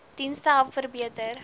dienste help verbeter